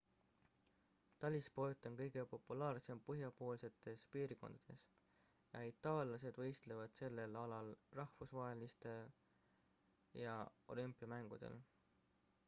talisport on kõige populaarsem põhjapoolsetes piirkondades ja itaallased võistlevad sellel alal rahvusvahelistel ja olümpiamängudel